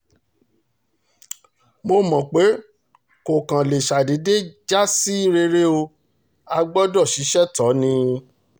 mo mọ̀ pé kò kàn lè ṣàdédé já sí rere o á gbọ́dọ̀ ṣiṣẹ́ tó ò ní